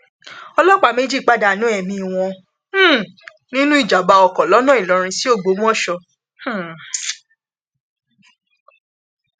ọlọpàá méjì pàdánù ẹmí wọn um nínú ìjàbábá ọkọ lọnà ìlọrin sí ògbómọṣọ um